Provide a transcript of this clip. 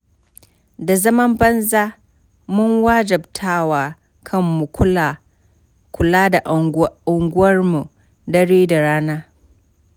Da zaman banza, mun wajabtawa kanmu kula da unguwarmu dare da rana.